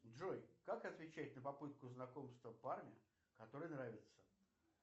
джой как отвечать на попытку знакомства парня который нравится